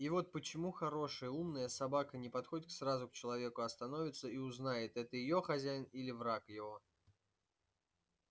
и вот почему хорошая умная собака не подходит к сразу к человеку а становится и узнает её это хозяин или враг его